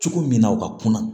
Cogo min na u ka kunna